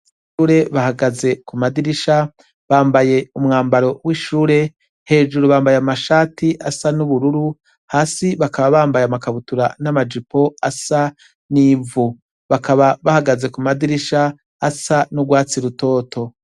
Abanyeshure bahagaze ku madirisha, bambaye umwambaro w' ishure, hejuru bambaye amashati asa n' ubururu, hasi bakaba bambaye amakabutura n' amajipo asa n' ivu. Bakaba bahagaze ku madirisha asa n' urwatsi rutoto.